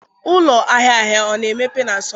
Ụlọ ahịa ahịa ọ na-emepe na Sọnde?